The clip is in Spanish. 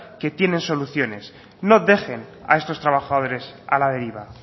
que tienen soluciones no dejen a estos trabajadores a la deriva